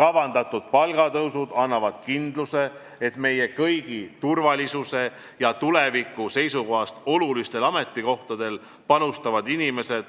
Kavandatud palgatõusud annavad kindluse, et meie kõigi turvalisuse ja tuleviku seisukohast olulistel ametikohtadel panustavad inimesed